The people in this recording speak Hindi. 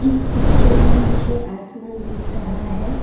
इस पिक्चर में मुझे आसमान दिख रहा है।